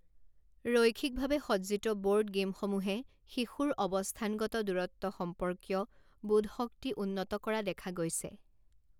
ৰৈখিকভাৱে সজ্জিত ব'ৰ্ড গে'মসমূহে শিশুৰ অৱস্থানগত দূৰত্ব সম্পৰ্কীয় বোধশক্তি উন্নত কৰা দেখা গৈছে।